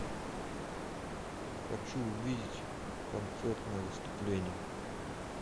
хочу увидеть концертное выступление